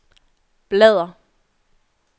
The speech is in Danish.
bladr